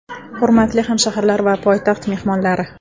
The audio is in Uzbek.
Hurmatli hamshaharlar va poytaxt mehmonlari!